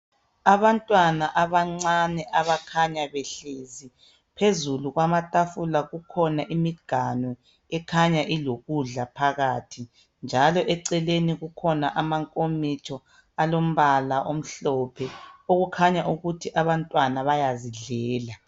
Abantwana abancane abakhanya behlezi phezulu kwamatafula kukhona imiganu ekhanya ilokudla phakathi njalo eceleni kukhona amankomitsho alombala omhlophe okukhanya ukuthi abantwana bayazidlela.